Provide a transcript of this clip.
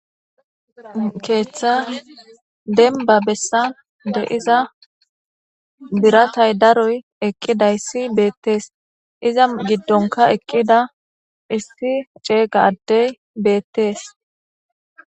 Keeththa dembba bessan diza biratay daroy dizayssi beetes, iza giddonkka eqqida issi ceega addey beetes.